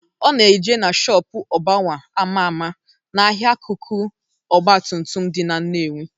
Ọ na-eje na shọpu Ogbowa ama ama n'ahịa akụkụ ọgbatumtum dị na Nnewi.